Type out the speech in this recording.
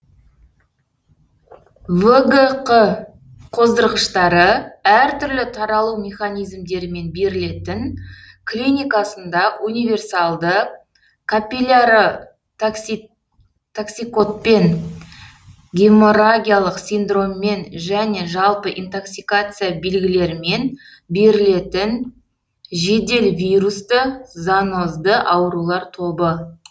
вгқ қоздырғыштары әртүрлі таралу механизмдерімен берілетін клиникасында универсальды капилляротоксикодпен геморрагиялық синдроммен және жалпы интоксикация бергілерімен берілетін жедел вирусты зоонозды аурулар тобы